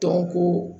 Dɔnko